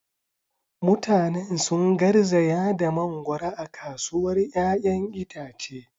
Mutanen sun garzaya da mangoro a kasuwar 'ya'yan itace.